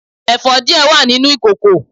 èfó die wa ninu ìkoko